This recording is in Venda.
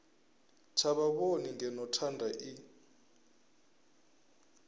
tsha vhavhoni ngeno thanda i